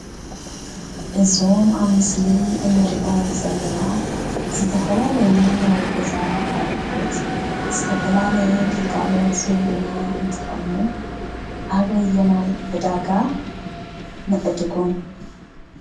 እዞም ኣብ ምስሊ እንሪኦም ዘለና ዝተፈላለዩ ናይ ገዛ ኣቑሑት ዝተፈላለየ ግልጋሎት ዝህቡና እንትኾኑ ኣበየናይ ዕዳጋ ንዕድጎም?